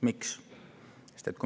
Miks?